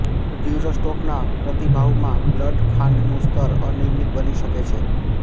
તીવ્ર સ્ટ્રોકના પ્રતિભાવમાં બ્લડ ખાંડનું સ્તર અનિયમિત બની શકે છે